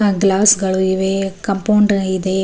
ಆ ಗ್ಲಾಸ್ ಗಳಿವೆ ಕಾಂಪೌಂಡ್ ಇವೆ.